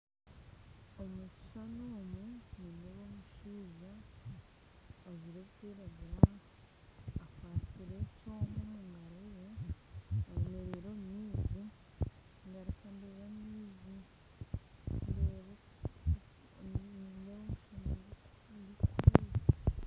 Omu kishuushani omu nindeeba omushaija ajwire ebirikwiraguura akwatsire ekyooma omugaro ye ayemereire omu maizi, ngaruka ndeeba amaizi ndeeba omushaana gurikuturuuka